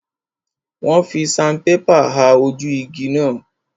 Wọ́n fi sanpépà ha ojú igi náà.